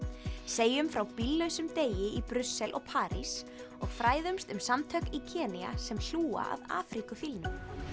segjum frá bíllausum degi í Brussel og París og fræðumst um samtök í Kenía sem hlúa að afríkufílnum